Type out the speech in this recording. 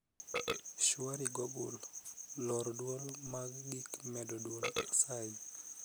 shwari google lor dwol mag gik medo dwol asayi